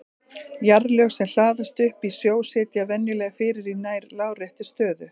Jarðlög sem hlaðast upp í sjó setjast venjulega fyrir í nær láréttri stöðu.